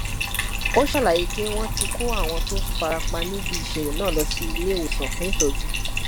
ó ṣàlàyé pé wọn ti kó àwọn tó fara pa níbi ìṣẹlẹ náà lọ sí ilé ìwòsàn fún ìtọjú